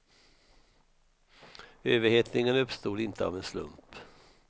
Överhettningen uppstod inte av en slump.